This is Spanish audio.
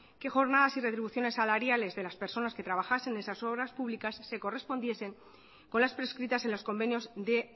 qué jornadas y retribuciones salariales de las personas que trabajasen en esas obras públicas se correspondiesen con las prescritas en los convenios de